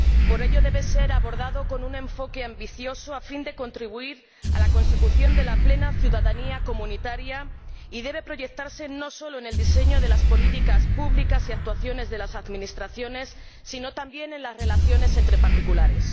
Por ello debe ser abordada con un enfoque ambicioso, a fin de contribuir a la consecución de la plena ciudadanía comunitaria, y debe proyectarse no solo en el diseño de las políticas públicas y actuaciones de las administraciones, sino también en las relaciones entre particulares.